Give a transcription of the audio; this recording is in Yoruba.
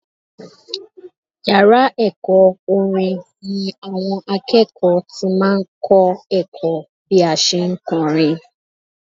Yàrá ẹ̀kọ́ orin ni àwọn akẹ́kọ̀ọ́ ti máa ń kọ́ ẹ̀kọ́ bí a ṣe ń kọrin